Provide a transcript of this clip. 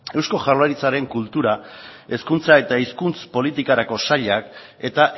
eusko jaurlaritzaren kultura hezkuntza eta hizkuntza politikarako sailak eta